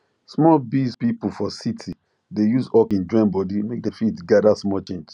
small biz people for city dey use hawking join body make dem fit gather small change